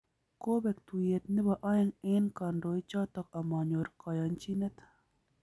Kobeek tuiyet nebo aeng eng kandoik choto amanyor kayanchinet